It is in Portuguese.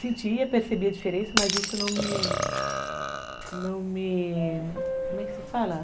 Sentia, percebia a diferença, mas isso não me... Como é que se fala?